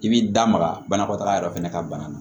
I b'i da maga banakɔtaga yɛrɛ fana ka bana na